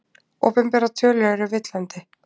Opinberar tölur eru villandi